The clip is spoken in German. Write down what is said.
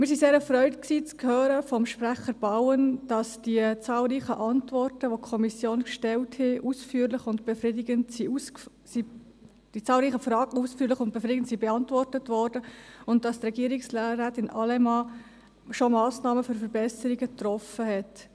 Wir sind sehr erfreut, vom Sprecher Bauen zu hören, dass die zahlreichen Fragen, welche die Kommission gestellt hat, ausführlich und befriedigend beantwortet wurden und dass Regierungsrätin Allemann schon Massnahmen zur Verbesserung getroffen hat.